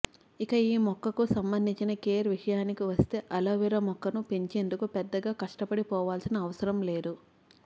ఇక ఈ మొక్కకు సంబంధించిన కేర్ విషయానికి వస్తే ఆలోవెరా మొక్కను పెంచేందుకు పెద్దగా కష్టపడిపోవాల్సిన అవసరం లేదు